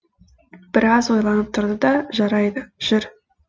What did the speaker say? біраз ойланып тұрды да жарайды жүр